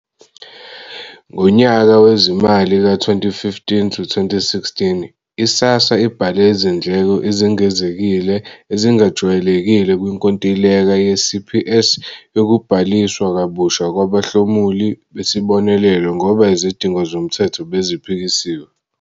Ngonyaka wezimali ka-2015 to 2016, i-SASSA ibhale izindleko ezingezekile, ezingajwayelekile kwinkontileka ye-CPS yokubhaliswa kabusha kwabahlomuli besibonelelo ngoba izidingo zomthetho beziphikisiwe.